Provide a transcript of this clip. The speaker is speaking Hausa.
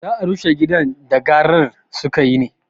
Za a rushe gidan da garar sukayi ne?